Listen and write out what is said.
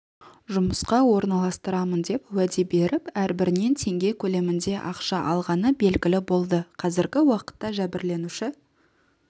жұмысқа орналастырамын деп уәде беріп әрбірінен теңге көлемінде ақша алғаны белгілі болды қазіргі уақытта жәбірленуші